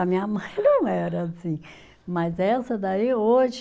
A minha mãe não era assim, mas essa daí hoje,